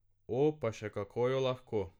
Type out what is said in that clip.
O, pa še kako jo lahko.